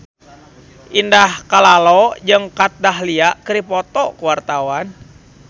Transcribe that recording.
Indah Kalalo jeung Kat Dahlia keur dipoto ku wartawan